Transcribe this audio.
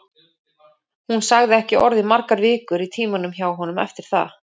Hún sagði ekki orð í margar vikur í tímunum hjá honum eftir það.